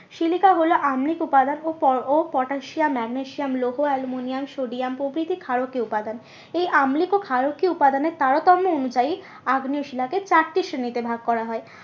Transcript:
Silica হলো আম্লিক উপাদান ও ও পটাসিয়াম ম্যাগনেসিয়াম লোগো আলমুনিয়াম প্রভৃতি ক্ষারকীয় উপাদান। এই আম্লিক ও ক্ষারকীয় উপাদানের তারতম্য অনুযায়ী আগ্নেয় শিলাকে চারটি শিলাতে ভাগ করা হয়।